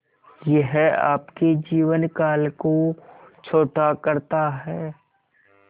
यह आपके जीवन काल को छोटा करता है